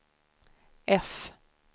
F